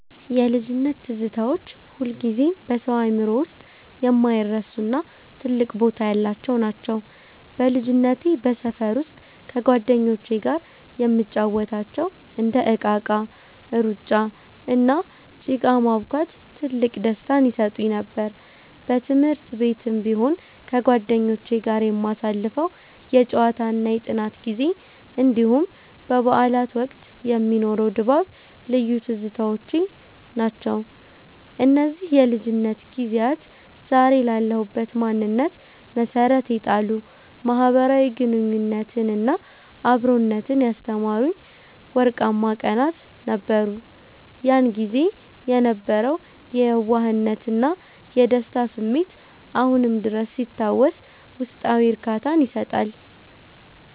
የልጅነት ትዝታዎች ሁልጊዜም በሰው አእምሮ ውስጥ የማይረሱና ትልቅ ቦታ ያላቸው ናቸው። በልጅነቴ በሰፈር ውስጥ ከጓደኞቼ ጋር የምንጫወታቸው እንደ እቃቃ፣ ሩጫ፣ እና ጭቃ ማቡካት ትልቅ ደስታን ይሰጡኝ ነበር። በትምህርት ቤትም ቢሆን ከጓደኞቼ ጋር የምናሳልፈው የጨዋታና የጥናት ጊዜ፣ እንዲሁም በበዓላት ወቅት የሚኖረው ድባብ ልዩ ትዝታዎቼ ናቸው። እነዚህ የልጅነት ጊዜያት ዛሬ ላለሁበት ማንነት መሠረት የጣሉ፣ ማኅበራዊ ግንኙነትንና አብሮነትን ያስተማሩኝ ወርቃማ ቀናት ነበሩ። ያን ጊዜ የነበረው የየዋህነትና የደስታ ስሜት አሁንም ድረስ ሲታወስ ውስጣዊ እርካታን ይሰጣል።